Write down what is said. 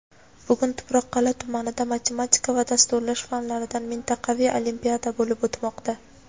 Bugun Tuproqqal’a tumanida matematika va dasturlash fanlaridan mintaqaviy olimpiada bo‘lib o‘tmoqda.